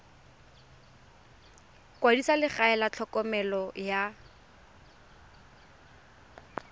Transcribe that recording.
kwadisa legae la tlhokomelo ya